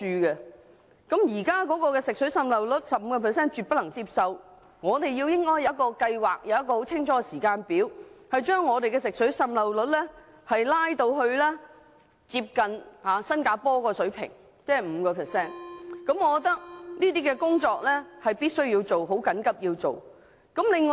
百分之十五的水管滲漏率是絕對不可接受的，我們應有清晰的計劃及時間表，把水管滲漏率降至接近新加坡的 5% 水平，這項工作必須緊急做好。